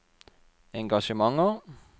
engasjementer